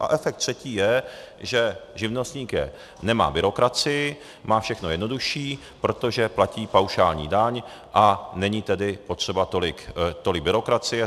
A efekt třetí je, že živnostník nemá byrokracii, má všechno jednodušší, protože platí paušální daň, a není tedy potřeba tolik byrokracie.